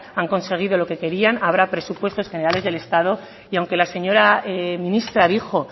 han conseguido lo que querían habrá presupuestos generales del estado y aunque la señora ministra dijo